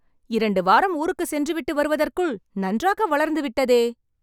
இரண்டு வாரம் ஊருக்கு சென்று விட்டு வருவதற்குள் நன்றாக வளர்ந்துவிட்டதே